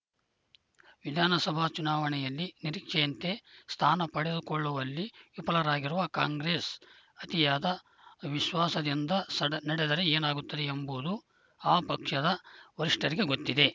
ವಿಧಾನಸಭಾ ಚುನಾವಣೆಯಲ್ಲಿ ನಿರೀಕ್ಷೆಯಂತೆ ಸ್ಥಾನ ಪಡೆದುಕೊಳ್ಳುವಲ್ಲಿ ವಿಫಲವಾಗಿರುವ ಕಾಂಗ್ರೆಸ್‌ ಅತಿಯಾದ ವಿಶ್ವಾಸದಿಂದ ಸ ನಡೆದರೆ ಏನಾಗುತ್ತದೆ ಎಂಬುದು ಆ ಪಕ್ಷದ ವರಿಷ್ಠರಿಗೆ ಗೊತ್ತಿದೆ